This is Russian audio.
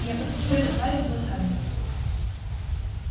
я подстрелю эту тварь из засады